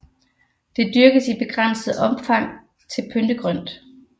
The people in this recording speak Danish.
Det dyrkes i begrænset opmfang til pyntegrønt